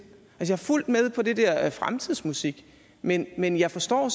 jeg er fuldt med på den der fremtidsmusik men men jeg forstår